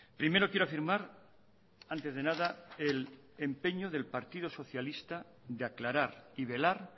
primero quiero afirmar antes de nada el empeño del partido socialista de aclarar y velar